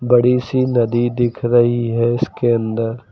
बड़ी सी नदी दिख रही है इसके अंदर।